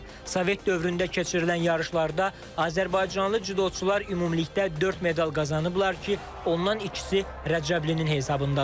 Sovet dövründə keçirilən yarışlarda azərbaycanlı cüdoçular ümumilikdə dörd medal qazanıblar ki, ondan ikisi Rəcəblinin hesabındadır.